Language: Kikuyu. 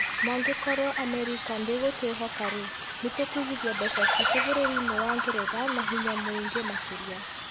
Na angĩkorũo Amerika ndĩgũtwĩhoka-rĩ, nĩ tũkũigithia mbeca ciitũ bũrũri-inĩ wa Ngeretha na hinya mũingi makĩria.